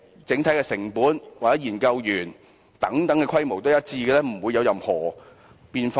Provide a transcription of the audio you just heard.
整體成本或研究員的規模是否都是一樣，不會有任何變化呢？